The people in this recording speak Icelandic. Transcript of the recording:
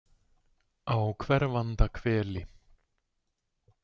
Á hverfanda hveli